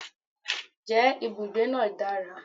je ibugbe naa dara?